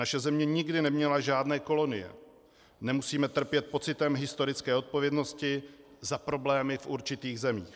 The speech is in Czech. Naše země nikdy neměla žádné kolonie, nemusíme trpět pocitem historické odpovědnosti za problémy v určitých zemích.